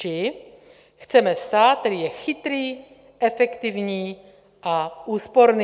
Či: "Chceme stát, který je chytrý, efektivní a úsporný."